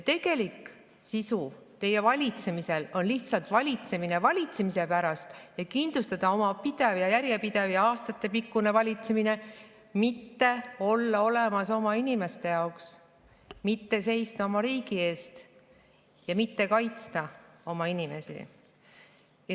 Teie valitsemise tegelik sisu on lihtsalt valitsemine valitsemise pärast – kindlustada endale järjepidev ja aastatepikkune valitsemine, mitte olla olemas oma inimeste jaoks, seista oma riigi eest ja kaitsta oma inimesi.